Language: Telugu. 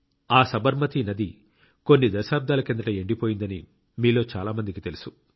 ఆ సబర్మతి నది కొన్ని దశాబ్దాల కిందట ఎండిపోయిందని మీలో చాలా మందికి తెలుసు